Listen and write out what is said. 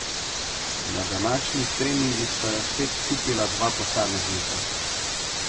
Na današnjih treningih sta jo spet skupila dva posameznika.